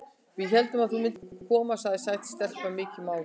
Við héldum að þú myndir ekki koma, segir sæt stelpa, mikið máluð.